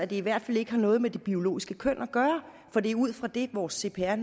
det i hvert fald ikke har noget med det biologiske køn at gøre for det er ud fra det vores cpr